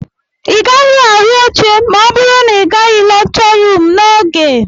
Ị gaghị ahụ oche ma ọ bụrụ na ị gaghị lekchọ ruum n'oge